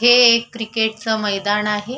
हे एक क्रिकेटच मैदान आहे.